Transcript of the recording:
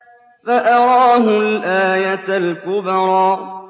فَأَرَاهُ الْآيَةَ الْكُبْرَىٰ